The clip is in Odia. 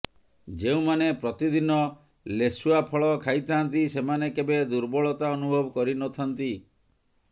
ଯେଉଁମାନେ ପ୍ରତିଦିନ ଲେସୁଆ ଫଳ ଖାଇଥାଆନ୍ତି ସେମାନେ କେବେ ଦୁର୍ବଳତା ଅନୁଭବ କରିନଥାଆନ୍ତି